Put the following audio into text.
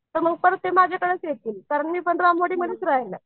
तर परत मग ते माझ्याकडेच येतील कारण मी पण रामवाडीमध्येच राहायला आहे.